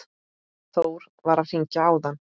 Þór var að hringja áðan.